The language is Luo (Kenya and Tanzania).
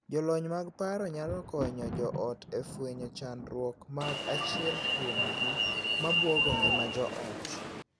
Jolony mag paro nyalo konyo joot e fwenyo chandruok mag achiel kuomgi ma buogo ngima joot.